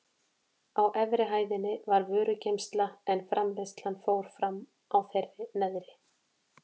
Á efri hæðinni var vörugeymsla en framleiðslan fór fram á þeirri neðri.